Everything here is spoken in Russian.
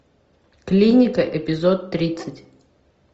клиника эпизод тридцать